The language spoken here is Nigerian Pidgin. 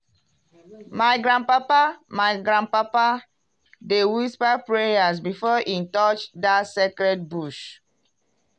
my grandpapa my grandpapa dey whisper prayers before e touch dat sacred bush.